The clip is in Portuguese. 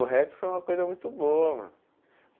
O rap foi uma coisa muito boa mano.